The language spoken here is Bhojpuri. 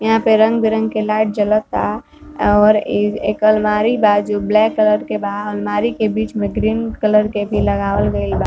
यहाँ पे रंग बिरंग के लाइट जलता और ई एक अलमारी बा जो ब्लैक कलर के बा और अलमारी के बीच में ग्रीन कलर के भी लगावल गइल बा।